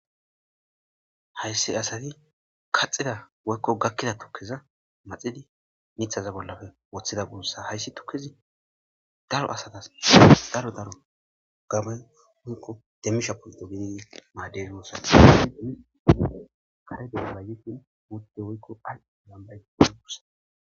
hayssi asati kaxida woykko gakkida tukkiza maxidi mithaza bollafe woththida gurssa hayssi tukkizi daro asatas daro daro gamay woykko demmisha polto gididi maaderiyosati kare deolaykin utde woykko ay yambay pod gussa